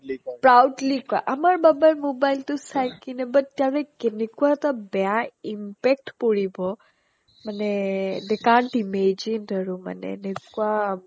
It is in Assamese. proudly কই proudly কই আমাৰ বাবাই mobile টো চাই কিনে but তাৰে কেনেকুৱা এটা বেয়া impact পৰিব মানে এ they can't imagine আৰু মানে এনেকুৱা